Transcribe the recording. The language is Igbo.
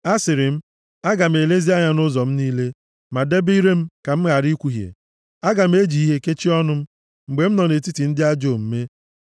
Asịrị m, “Aga m elezi anya nʼụzọ m niile ma debe ire m ka m ghara ikwuhie + 39:1 \+xt Job 2:10; Abụ 34:13; Jem 3:5-12\+xt*; aga m eji ihe kechie ọnụ m mgbe m nọ nʼetiti ndị ajọ omume.”